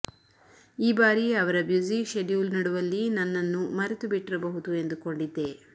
ಈ ಬಾರಿ ಅವರ ಬ್ಯಸಿ ಶೆಡ್ಯೂಲ್ ನಡುವಲ್ಲಿ ನನ್ನನ್ನು ಮರೆತುಬಿಟ್ಟಿರಬಹುದು ಎಂದುಕೊಂಡಿದ್ದೆ